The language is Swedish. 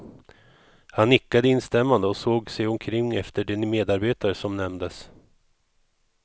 Han nickade instämmande och såg sig omkring efter de medarbetare som nämndes.